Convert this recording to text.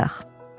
Gəl yataq.